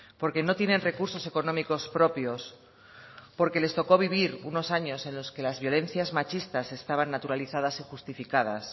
porque no tienen recursos económicos propios porque les tocó vivir unos años en los que las violencias machistas estaban naturalizadas y justificadas